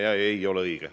See ei ole õige.